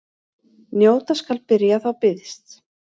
Njóta skal byrjar þá býðst.